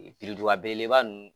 belebeleba ninnu.